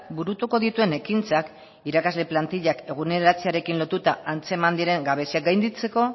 burutuko dituen ekintzak irakasle plantillak eguneratzearekin lotura antzeman diren gabeziak gainditzeko